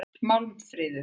Málmfríður